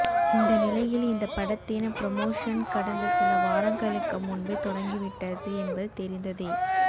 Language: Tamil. இந்த நிலையில் இந்த படத்தின் புரமோஷன் கடந்த சில வாரங்களுக்கு முன்பே தொடங்கிவிட்டது என்பது தெரிந்ததே